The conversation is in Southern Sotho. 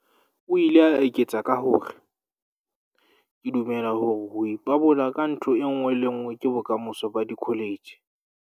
O ile a eketsa ka hore, "Ke dumela hore ho ipabola ka ntho e le nngwe ke bokamoso ba dikholetjhe."